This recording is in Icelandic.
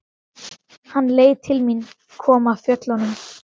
Hann leit til mín, kom af fjöllum.